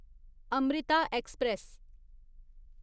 Amrita express